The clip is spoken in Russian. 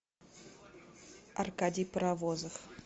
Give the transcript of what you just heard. аркадий паровозов